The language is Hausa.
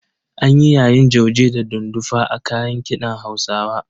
An yi yayin jauje da dundufa a kayan kiɗan Hausawa.